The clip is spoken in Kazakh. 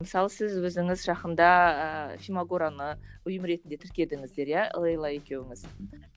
мысалы сіз өзіңіз жақында фимагораны ұйым ретінде тіркедіңіздер иә лейла екеуіңіз